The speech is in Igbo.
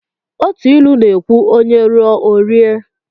Otu ilu na ekwu"onye ruo o rie"